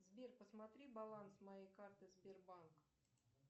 сбер посмотри баланс моей карты сбербанк